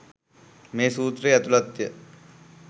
මේ සූත්‍රයේ ඇතුළත්ය.